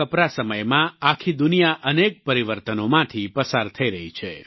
કોરોનાના આ કપરા સમયમાં આખી દુનિયા અનેક પરિવર્તનોમાંથી પસાર થઈ રહી છે